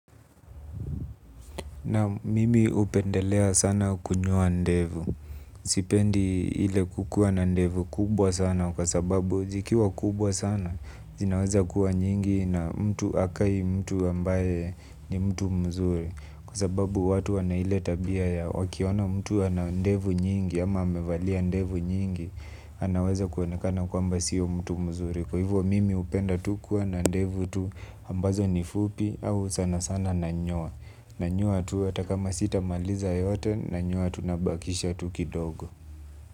Nam mimi hupendelea sana kunyoa ndevu, sipendi ile kukuwa na ndevu kubwa sana kwa sababu zikiwa kubwa sana, zinaweza kuwa nyingi na mtu hakai mtu ambaye ni mtu mzuri. Kwa sababu watu wana ile tabia ya wakiona mtu ana ndevu nyingi ama amevalia ndevu nyingi, anaweza kuonekana kwamba sio mtu mzuri. Kwa hivyo mimi hupenda tu kuwa na ndevu tu ambazo ni fupi au sana sana nanyoa nanyoa tu hata kama sitamaliza yote nanyoa tu nabakisha tu kidogo.